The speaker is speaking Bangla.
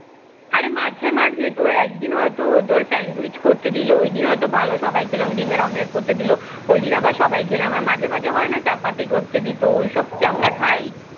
আরে মাঝে মাঝে তোর একদিন হয়ত তোর স্যান্ডউইচ করতে দিল ওই দিন হয়ত ভালো সবাই খেলাম ডিমের অমলেট করতে দিল ওই দিন আবার সবাই খেলাম মাঝে মাঝে হয় না চাপাটি করতে দিত ওই সব কি আমরা খাই